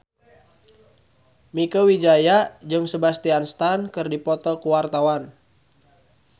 Mieke Wijaya jeung Sebastian Stan keur dipoto ku wartawan